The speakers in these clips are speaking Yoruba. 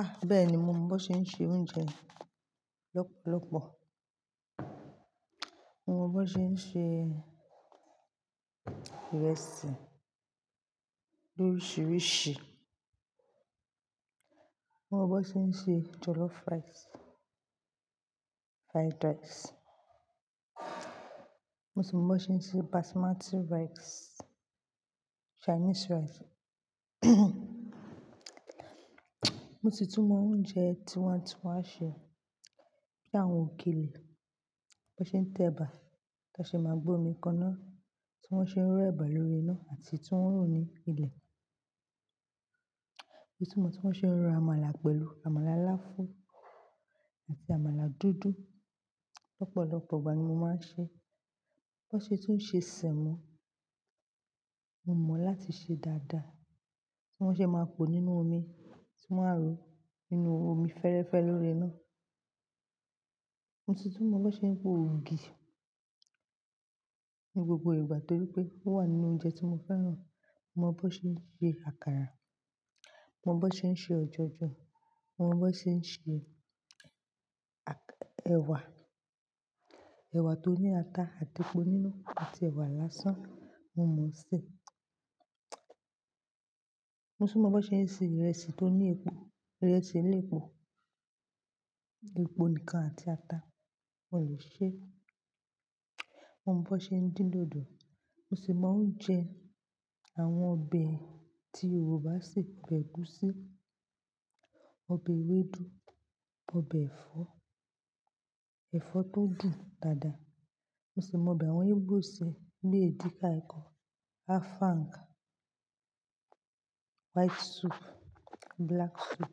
Ah! Bẹ́ẹ̀ ni, mo mọ bó ṣe ń se oúnjẹ lọ́pọ̀lọ́pọ̀. Mo mọ bó ṣe ń se ìrẹsì lóríṣiríṣi. Mo mọ bó ṣe ń se jollof rìce, fried rice. Mo sì mọ bó ṣe ń se Basmati rice, Chinese rice. Mo sì tún mọ oúnjẹ tí wọ́n á, tí wọ́n á ṣe bí àwọn òkèlè bó n ṣe ń tẹ̀bà tá ṣe máa gbómi kaná tí wọ́n ṣe ń ro ẹ̀bà lórí iná àti tí wọ́n ro ní ilẹ̀. Mo sì tun mọ tí wọ́n ṣe ń ro amala pẹ̀lú amala aláfún àti amala dúdú. Lọ́pọ̀lọ́pọ̀ ìgbà ni mo máa ń ṣe. Bo ṣe tún ṣe sẹ̀mọ, mo mọ láti ṣe dáadáa tí wọ́n ṣe máa pò nínú omi tí wọ́n á ro nínú omi fẹ́rẹ́fẹ́ lórí iná. Mo sì tún mọ bó ṣe ń po ògì ní gbogbo ìgbà torí pé ó wà nínú oúnjẹ tí mo fẹ́ràn. Mo mọ bó ṣe ń ṣe àkàrà, mo mọ bó ṣe ń ṣe ọ̀jọ̀jọ̀, mo mọ bó ṣe ń ṣe a-ẹwà, ẹwà tó ní ata àti epo nínú àti ẹwà lásán, mo mọ ṣé. Mo sì mọ bó ṣe ń se ìrẹsì tó ní epo, ìrẹsì elépo, epo nìkan àti ata, mo lè ṣe. Mo mọ bó ṣe ń dín dòdò. Mo sì mọ oúnjẹ àwọn ọbẹ̀ tí Yorùbá ṣì ń p'ẹ̀gúsí, ọbẹ̀ ewédú, ọbẹ̀ ẹ̀fọ́, ẹ̀fọ́ tó dùn dáadáa. Mo sì mọ ọbẹ̀ àwọn Ìgbò ṣe ní èdíkà ikong, afang, white soup, black soup,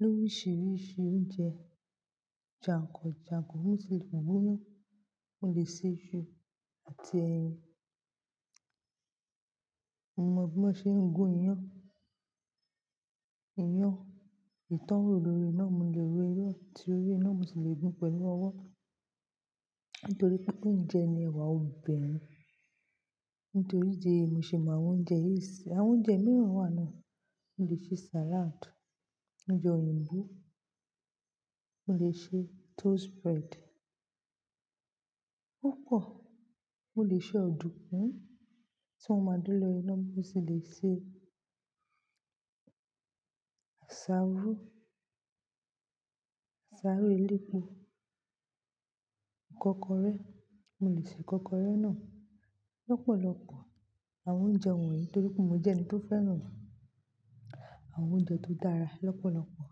lo oríṣiríṣi oúnjẹ jàǹkàn jàǹkàn. Mo sì le bu inú, mo lè se iṣu àti ẹyin. Mo mọ bó ṣe ń gun iyán, iyán, eyi tan rò lórí iná, mo lè ro irú tí orí iná, mo sì le gun pẹ̀lú ọwọ́ nítorí pé ó ń jẹ ní ẹwà òbinrin. Nítorí ìdí èyí mo sì mọ àwọn oúnjẹ yìí ṣe. Àwọn oúnjẹ mìíràn wà náà. Mo lè ṣe salad, oúnjẹ òyìnbó, mo lè ṣe toast bread. Ó pò, mo lè ṣe ọ̀dùnkún tí wọ́n máa dúró lórí iná. Mo sì lè ṣe àsáró, àsáró elépo, ìkọ́kọrẹ́, mo lè ṣe ìkọ́kọrẹ́ náà lọ́pọ̀lọ́pọ̀ àwọn oúnjẹ wọ̀nyí nítorí pé mo jẹ́ ẹni tó fẹ́ràn àwọn oúnjẹ tó dára lọ́pọ̀lọ́pọ̀.